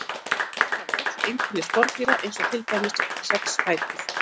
Maurar hafa öll einkenni skordýra eins og til dæmis sex fætur.